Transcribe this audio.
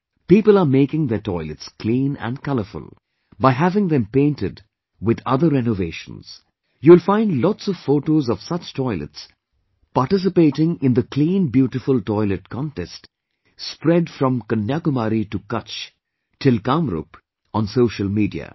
People are making their toilets clean and colourful, by having them painted and other rennovations, you will find lots of photos of such toilets participating in the "Clean beautiful Toilet" contest spread from Kanya Kumari to Kutchh till Kamrup on social media